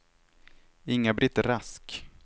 Inga-Britt Rask